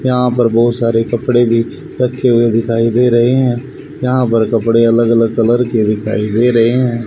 यहां पर बहुत सारे कपड़े भी रखे हुए दिखाई दे रहे हैं यहां पे कपड़े अलग अलग कलर के दिखाई दे रहे हैं।